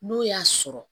N'o y'a sɔrɔ